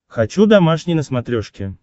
хочу домашний на смотрешке